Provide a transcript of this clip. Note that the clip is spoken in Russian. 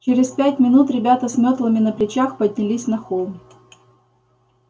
через пять минут ребята с мётлами на плечах поднялись на холм